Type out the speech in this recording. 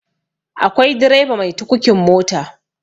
akwai direba mai tukukin mota